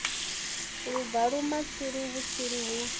lu bvula matsilu vhutsilu lu